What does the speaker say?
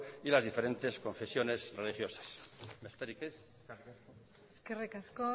y las diferentes confesiones religiosas besterik ez eskerrik asko